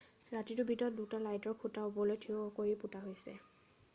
ৰাতিটোৰ ভিতৰত 2টা লাইটৰ খুটা ওপৰলৈ থিয় কৰি পোতা হৈছে